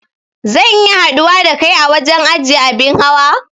Zan iya haɗuwa da kai a wajen ajiye abin hawa